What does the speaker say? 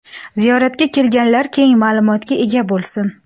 Ziyoratga kelganlar keng ma’lumotga ega bo‘lsin.